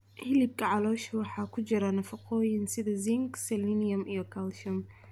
Hilibka caloosha waxaa ku jira nafaqooyin sida zinc, selenium iyo calcium.